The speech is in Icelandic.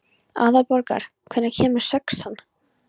Aðalborgar, hvenær kemur sexan?